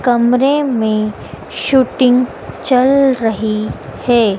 कमरे में शूटिंग चल रही हैं।